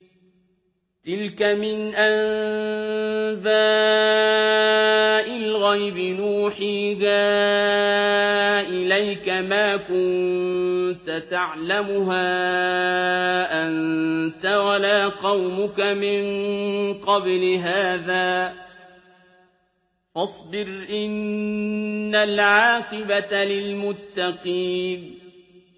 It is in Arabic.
تِلْكَ مِنْ أَنبَاءِ الْغَيْبِ نُوحِيهَا إِلَيْكَ ۖ مَا كُنتَ تَعْلَمُهَا أَنتَ وَلَا قَوْمُكَ مِن قَبْلِ هَٰذَا ۖ فَاصْبِرْ ۖ إِنَّ الْعَاقِبَةَ لِلْمُتَّقِينَ